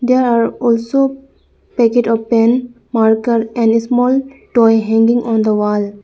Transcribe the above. there are also packet of pen marker and small toy hanging on the wall.